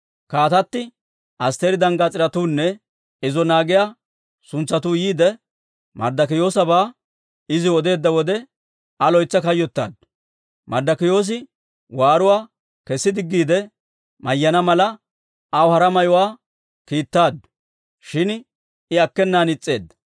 Kaatatti Asttiri danggaas'iretuunne izo naagiyaa suntsatuu yiide, Marddokiyoosabaa iziw odeedda wode, Aa loytsi kayyottaaddu. Marddokiyoosi waaruwaa kesi diggiide mayyana mala, aw hara mayuwaa kiittaaddu; shin I akkenan is's'eedda.